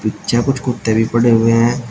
पीछे कुछ कुत्ते भी पड़े हुए हैं।